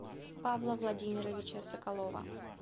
павла владимировича соколова